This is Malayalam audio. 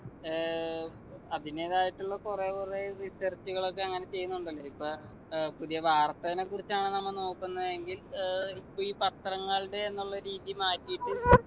ഏർ അതിനേക്കാട്ടിലും കുറെ കുറെ research കൾ ഒക്കെ അങ്ങനെ ചെയ്യുന്നുണ്ടല്ലോ ഇപ്പൊ ഏർ പുതിയ വാർത്തനക്കുറിച്ചാണ് നമ്മ നോക്കുന്നതെങ്കിൽ ഏർ ഇപ്പൊ ഈ പത്രങ്ങളുടെ എന്നുള്ള രീതി മാറ്റിട്ട്